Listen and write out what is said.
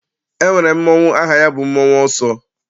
E nwere mmọnwụ aha ya bụ mmọnwụ ọsọ.